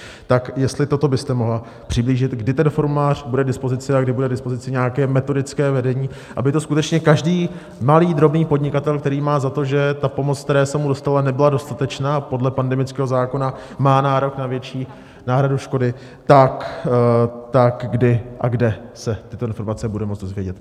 Tak jestli toto byste mohla přiblížit, kdy ten formulář bude k dispozici a kdy bude k dispozici nějaké metodické vedení, aby to skutečně každý malý drobný podnikatel, který má za to, že ta pomoc, které se mu dostalo, nebyla dostatečná, a podle pandemického zákona má nárok na větší náhradu škody, tak kdy a kde se tyto informace bude moci dozvědět.